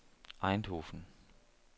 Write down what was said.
Eindhoven